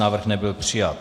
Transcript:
Návrh nebyl přijat.